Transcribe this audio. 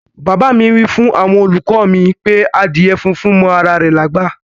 Bab mi wifun awon oluko mi pe adíè fúnfún mọ ara rè lágbá.